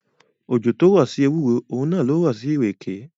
Òjò tó rọ̀ sí ewúro, òun náà lo rọ̀ sí ìrèké.